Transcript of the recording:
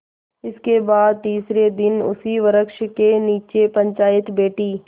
इसके बाद तीसरे दिन उसी वृक्ष के नीचे पंचायत बैठी